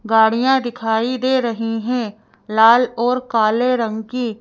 गाड़ियां दिखाई दे रही है लाल और काले रंग की--